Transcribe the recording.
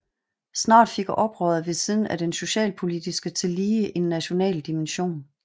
Snart fik oprøret ved siden af den socialpolitiske tillige en national dimension